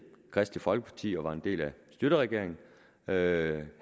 kristeligt folkeparti og var en del af schlüterregeringen havde min